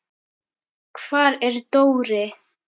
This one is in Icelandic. Hvar er Dóri?